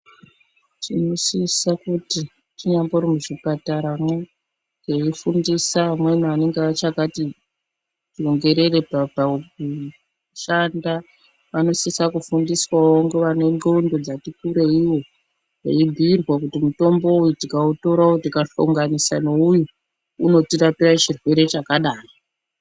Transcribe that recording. Tinosisa kuti tinyambori muchipataramwo teifundisa vamweni vanenge vachakati tsongerere pakushanda vanosisa kufundiswawo ngevane ndxondo dzati kurei veibhiirwa kuti mutombo uyu tikautora tikahlonganisa neyu unotirapira chirwere chakadai .